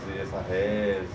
De fazer essa